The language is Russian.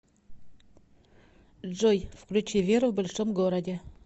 джой включи веру в большом городе